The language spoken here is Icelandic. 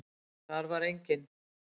Þar var engin.